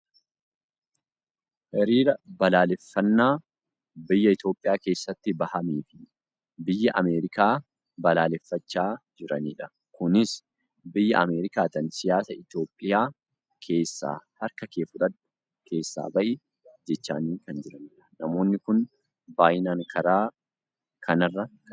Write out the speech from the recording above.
hiriira balaaleffannaa biyya Itoopiyaa keessatti bahameefi biyya Ameerikaa balaaleffachaa jiranidha. kunis Biyya Ameerikaatiin siyaasa Itoopiyaa keessaa harka kee fudhadhu keessaa bahi jechaanii kan jiranidha. namoonni kun baayyinan karaa kanarra kan jiranidha.